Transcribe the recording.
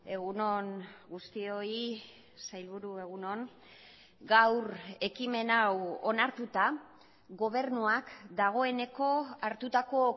egun on guztioi sailburu egun on gaur ekimen hau onartuta gobernuak dagoeneko hartutako